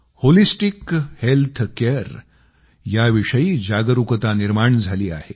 holistic health care विषयी जागरूकता निर्माण झाली आहे